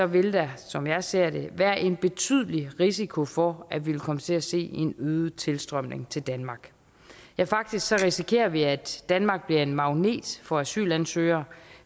vil der som jeg ser det være en betydelig risiko for at vi vil komme til at se en øget tilstrømning til danmark ja faktisk risikerer vi at danmark bliver en magnet for asylansøgere